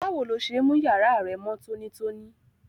Báwo lo se n mú yàrá rẹ mó tónítóní?